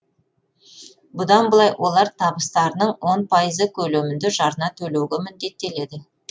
бұдан былай олар табыстарының он пайызы көлемінде жарна төлеуге міндеттеледі